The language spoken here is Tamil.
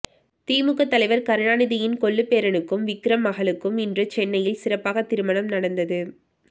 திமுக தலைவர் கருணாநிதியின் கொள்ளுப்பேரனுக்கும் விக்ரம் மகளுக்கும் இன்று சென்னையில் சிறப்பாக திருமணம் நடந்தது